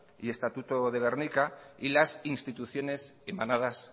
y estatuto de gernika y las instituciones emanadas